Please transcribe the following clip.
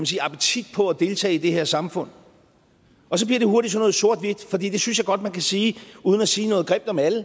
sige appetit på at deltage i det her samfund og så bliver det hurtigt sådan noget sort hvidt for det synes jeg godt man kan sige uden at sige noget grimt om alle